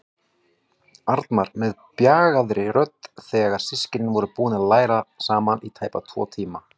Arnar með bjagaðri rödd þegar systkinin voru búin að læra saman í tæpa tvo tíma.